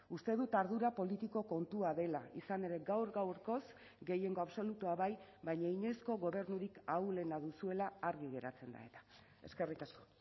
uste dut ardura politiko kontua dela izan ere gaur gaurkoz gehiengo absolutua bai baina inoizko gobernurik ahulena duzuela argi geratzen da eta eskerrik asko